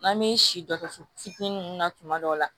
N'an bɛ si dɔgɔtɔrɔso fitinin ninnu na tuma dɔw la